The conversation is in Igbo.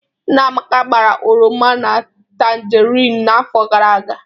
Nna Amaka gbara oroma na tangerine n'afọ gara aga